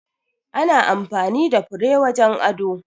Ana amfani da fure wajen ado.